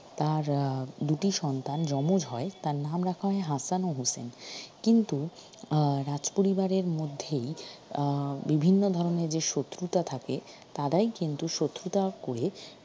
তার আহ দুটি সন্তান জমজ হয় তার নাম রাখা হয় হাসান ও হোসেন কিন্তু আহ রাজপরিবারের মধ্যেই আহ বিভিন্ন ধরনের যে শত্রুতা থাকে তারাই কিন্তু শত্রুতা করে